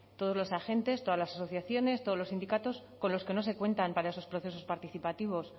todos los agentes todas las asociaciones todos los sindicatos con los que no se cuentan para esos procesos participativos